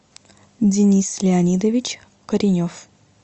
денис леонидович коренев